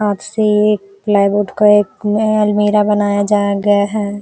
हाथ से एक प्लाईवुड का एक आ अलमीरा बनाया जाया गया है।